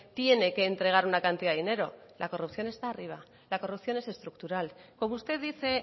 tiene que entregar una cantidad de dinero la corrupción está arriba la corrupción es estructural como usted dice